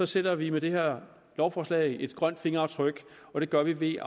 sætter vi med det her lovforslag et grønt fingeraftryk og det gør vi ved